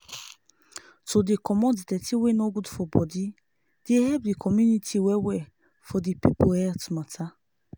to dey comot dirty wey no good for body dey help di community well well for di people health mata